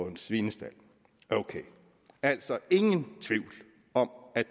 en svinestald ok altså ingen tvivl om at